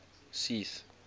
seth